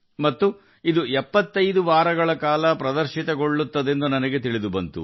ಮತ್ತು ಅದು 75 ವಾರಗಳವರೆಗೆ ಮುಂದುವರಿಯುತ್ತದೆ ಎಂದು ನನಗೆ ತಿಳಿಸಲಾಯಿತು